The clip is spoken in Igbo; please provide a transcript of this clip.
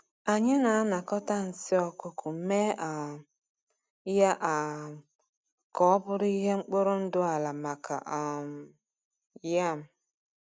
Anyị na-anakọta nsị ọkụkọ mee um ya um ka ọ bụrụ ihe mkpụrụ ndụ ala maka um yam.